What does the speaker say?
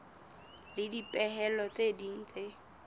le dipehelo tse ding tse